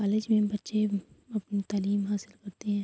College مے بچھے اپنی تعلیم حاصل کرتے ہے۔